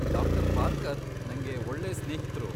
ಡಾ. ಪಾರ್ಕರ್ ನಂಗೆ ಒಳ್ಳೆ ಸ್ನೇಹಿತ್ರು.